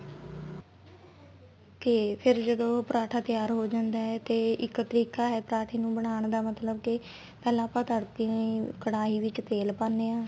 ਤੇ ਫੇਰ ਜਦੋਂ ਪਰਾਂਠਾ ਤਿਆਰ ਹੋ ਜਾਂਦਾ ਤੇ ਇੱਕ ਤਰੀਕਾ ਹੈ ਪਰਾਂਠੇ ਨੂੰ ਬਣਾਨ ਦਾ ਮਤਲਬ ਕੇ ਪਹਿਲਾਂ ਅਪਾ ਤੜਕੇ ਕੜਾਈ ਵਿੱਚ ਤੇਲ ਪਾਨੇ ਆ